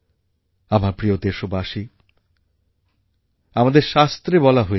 আমার প্রিয় দেশবাসী আমাদের শাস্ত্রে বলা হয়েছে